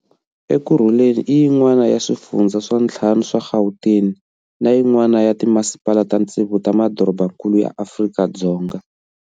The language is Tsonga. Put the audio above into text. Ekurhuleni i yin'wana ya swifundzha swa ntlhanu swa Gauteng na yin'wana ya timasipala ta ntsevu ta madorobankulu ya Afrika-Dzonga.